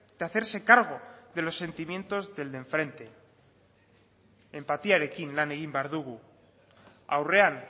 de hacerse cargo de los sentimientos del de enfrente enpatiarekin lan egin behar dugu aurrean